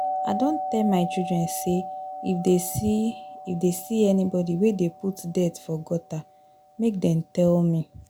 I don tell my children say if dey see if dey see anybody wey dey put dirt for gutter make dem tell me